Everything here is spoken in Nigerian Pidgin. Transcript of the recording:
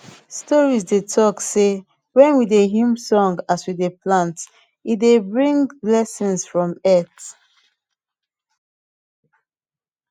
stories dey talk sey when we dey hum song as we dey plant e dey bring blessings from earth